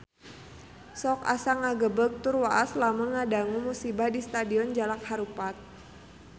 Sok asa ngagebeg tur waas lamun ngadangu musibah di Stadion Jalak Harupat